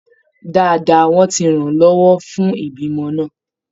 Dáadáa, wọ́n ti ràn án lọ́wọ́ fún ìbímọ náà